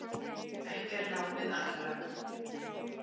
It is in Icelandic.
Ekki er lánið allra.